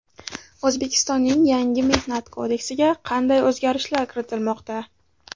O‘zbekistonning yangi Mehnat kodeksiga qanday o‘zgarishlar kiritilmoqda?